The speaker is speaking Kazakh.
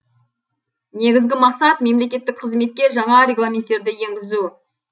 негізгі мақсат мемлекеттік қызметке жаңа регламенттерді енгізу